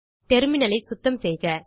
டெர்மினலை சுத்தம் செய்க